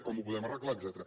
com ho podem arreglar etcètera